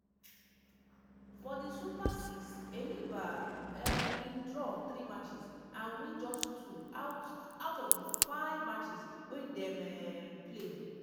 for di super six enyimba um bin draw three matches and win just two out out of di five matches wey dem um play.